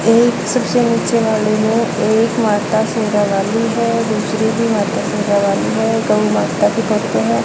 एक सबसे नीचे वाली है एक माता शेरावाली है दूसरी भी माता शेरावाली है गौ माता के भक्त हैं।